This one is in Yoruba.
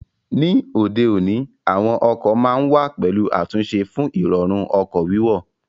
Ní òde òní, àwọn ọkọ̀ ma ń wà pẹ̀lú àtúnṣe fún Ìrọ̀rùn ọkọ̀ wíwọ̀